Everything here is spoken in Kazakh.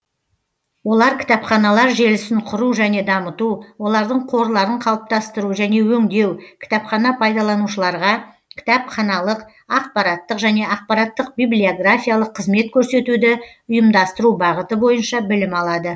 олар кітапханалар желісін құру және дамыту олардың қорларын қалыптастыру және өңдеу кітапхана пайдаланушыларға кітапханалық ақпараттық және ақпараттық библиографиялық қызмет көрсетуді ұйымдастыру бағыты бойынша білім алады